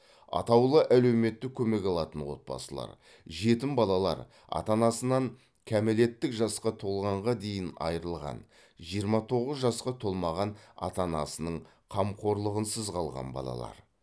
атаулы әлеуметтік көмек алатын отбасылар жетім балалар ата анасынан кәмелеттік жасқа толғанға дейін айырылған жиырма тоғыз жасқа толмаған ата анасының қамқорлығынсыз қалған балалар